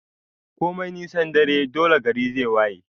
Komai nisan dare dole gari zai waye